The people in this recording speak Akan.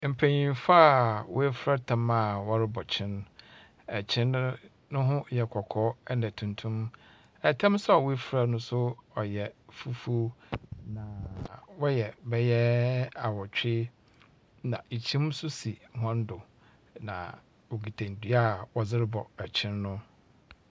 Mpanymfo a wɔafura tam a wɔrebɔ kyen. Kyen no, ne ho yɛ kɔkɔɔ na tuntum. Ɛtam nso a wɔafura no nso ɔyɛ fufuw. Na wɔyɛ beyɛ awɔtwe. Na kyim nso si wɔn do. Na wɔkita ndua a wɔdze rebɔ nkyen no.